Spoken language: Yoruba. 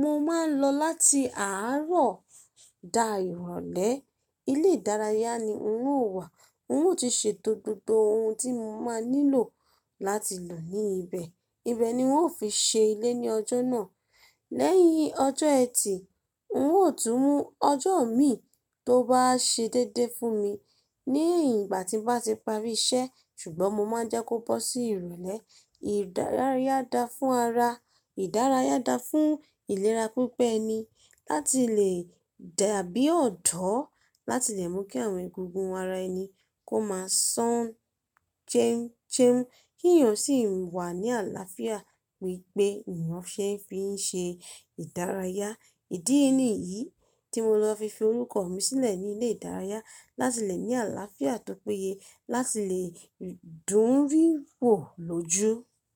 mo máa ń lọ láti àárọ̀ da ìrọ̀lẹ́. Ilé ìdárayá ni n ó wà, n ó ti ṣe tó gbogbo ohun tí mo máa nílò láti lọ ní ibẹ̀. Ibẹ̀ ni wọ́n ó fi ṣe ilé ní ọjọ́ náà. Lẹ́yìn ọjọ́ Ẹtì, n ó tún mú ọjọ́ mi tó bá ṣe déédéé fún mi ní ìgbà tí bá ti parí iṣẹ́, ṣùgbọ́n mo máa jẹ́ kó bọ́ sí ìrọ̀lẹ́. Ìdárayá da fún ara, ìdárayá da fún ìlera pípé ẹni láti lè dàbí ọ̀dọ́, láti lè mú kí àwọn egungun ara ẹni kó máa sán jẹ́ńjẹ́ń, kí èèyàn sì wà ní àlàáfíà pípé èèyàn ṣé é fi ṣe ìdárayá. Ìdí nìyí tí mo lọ fi fi orúkọ mi sílẹ̀ ní ilé ìdárayá láti lè ní àlàáfíà tó péye, láti lè dùn-ún rí wò lójú.